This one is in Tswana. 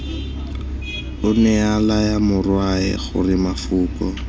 onea laya morwae gore mafoko